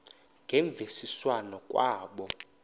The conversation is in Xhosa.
ngemvisiswano r kwabo